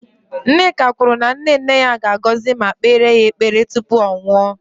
Nneka kwuru na nne nne ya ga-agọzi ma kpeere ya ekpere tupu ọ nwụọ